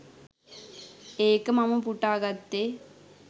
ඒක මම උපුටා ගත්තේ.